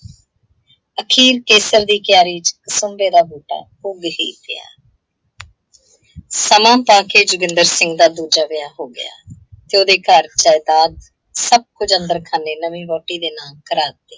ਅਖੀਰ ਕੇਸਰ ਦੀ ਕਿਆਰੀ ਚ ਸੰਘੇ ਦਾ ਬੂਟਾ ਉੱਘ ਹੀ ਪਿਆ। ਸਮਾਂ ਪਾਕੇ ਜੋਗਿੰਦਰ ਸਿੰਘ ਦਾ ਦੂਜਾ ਵਿਆਹ ਹੋ ਗਿਆ, ਤੇ ਉਹਦੇ ਘਰ ਜਾਇਦਾਦ ਸਭ ਕੁੱਝ ਅੰਦਰ ਖਾਨੇ ਨਵੀਂ ਵਹੁਟੀ ਦੇ ਨਾਂ ਕਰਾ ਦਿੱਤੇ।